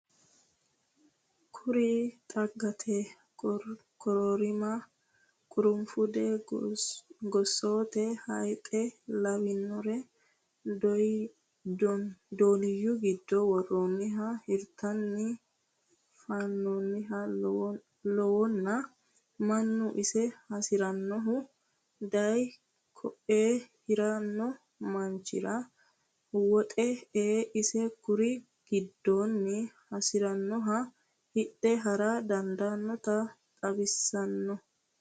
Kuri xaggate kororima ,qurufude, gosote hayxe lawinore dooniyu giddo worooniha hirate fanoniha lawano mannu iso hasiranohu daaye koe hirano manchira woxe e"e isi kuri giddoni hasiranoha hidhe hara dandaanotta xawisano.